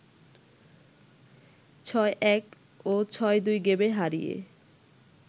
৬-১ ও ৬-২ গেমে হারিয়ে